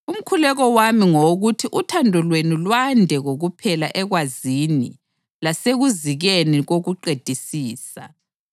Umkhuleko wami ngowokuthi uthando lwenu lwande kokuphela ekwazini lasekuzikeni kokuqedisisa